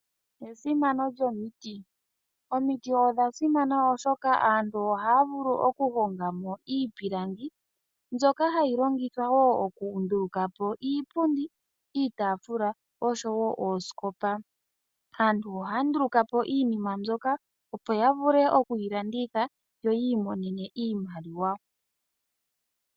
Esimano lyomiti Omiti odha simana oshoka aantu ohaya vulu oku honga mo iipilangi mbyoka hayi longithwa wo oku nduluka po iipundi, iitaafula oshowo oosikopa. Aantu ohaya nduluka po iinima mbyoka opo ya vule oku yi landitha, yo yi imonene iimaliwa.